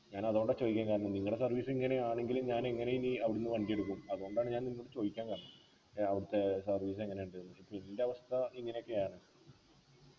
ഞാൻ അതോണ്ടാ ചോയ്ക്കാൻ കാരണം നിങ്ങടെ service ഇങ്ങനെയാണെങ്കില് ഞാനെങ്ങനെ ഇനി അവിടെന്ന് വണ്ടി എടുക്കും അതുകൊണ്ടാണ് ഞാൻ നിന്നോട് ചോയ്ക്കാൻ കാരണം ഏർ അവിടെത്തെ service എങ്ങനെയുണ്ട്ന്ന് ഇപ്പൊ ഇൻ്റെവസ്ഥ ഇങ്ങനൊക്കെയാണ്